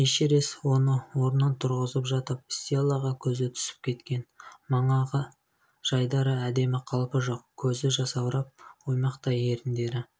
эшерест оны орнынан тұрғызып жатып стеллаға көзі түсіп кеткен манағы жайдары әдемі қалпы жоқ көзі жасаурап оймақтай еріндері